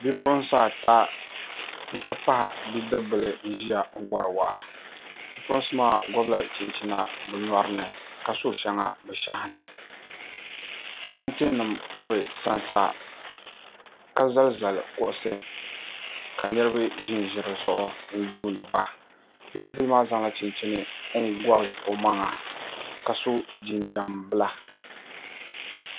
bipuɣinsi ata nti pahi bidibibila n-zaya wari waa bipuɣinsi maa gɔbila chinchina bɛ nyɔri ni ka so shɛŋa bɛ shɛhi ni tantinima ka bɛ sansa ka zalizali kuɣisi ka niriba ʒinʒi di zuɣu n-yuuni ba bidibibila maa zaŋla chinchini n-gɔbi o maŋa ka so jinjam bila